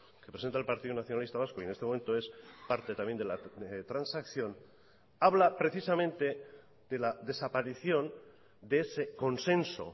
que presenta el partido nacionalista vasco y en este momento es parte también de la transacción habla precisamente de la desaparición de ese consenso